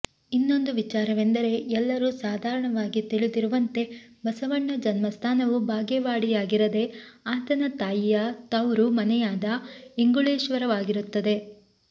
ಇನ್ನೊಂದು ವಿಚಾರವೆಂದರೆ ಎಲ್ಲರೂ ಸಾಧಾರಣವಾಗಿ ತಿಳಿದಿರುವಂತೆ ಬಸವಣ್ಣ ಜನ್ಮಸ್ಥಾನವು ಬಾಗೇವಾಡಿಯಾಗಿರದೆ ಆತನ ತಾಯಿಯ ತೌರು ಮನೆಯಾದ ಇಂಗುಳೇಶ್ವರವಾಗಿರುತ್ತದೆ